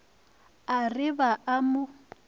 a re ba a mo